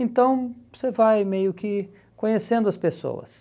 Então, você vai meio que conhecendo as pessoas.